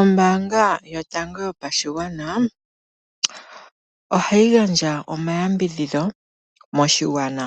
Ombaanga yotango yopashigwana ohayi gandja omayambidhidho moshigwana.